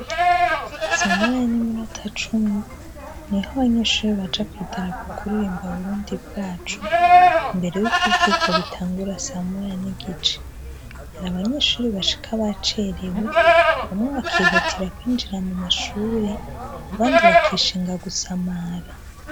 Samoya n'iminota cumi, niho abanyeshure baja kw'idarapo kuririmba burundi bwacu, imbere y'uko ivyigwa bitangura samoya n'igice. Hari abanyeshure bashika bacerewe, bamwe bakihutira kwinjira mu mashure, abandi bakishinga gusamara.